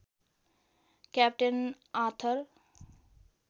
captain Arthur